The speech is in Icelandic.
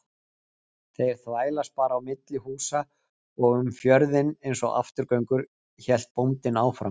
Þeir þvælast bara á milli húsa og um fjörðinn einsog afturgöngur, hélt bóndinn áfram.